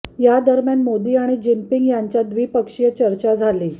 या दरम्यान मोदी आणि जिनपिंग यांच्यात द्विपक्षीय चर्चा झाली